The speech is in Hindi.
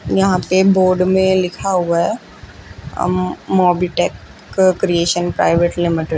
यहां पे बोर्ड में लिखा हुआ है अम मोबिटेक क्रिएशन प्राइवेट लिमिटेड ।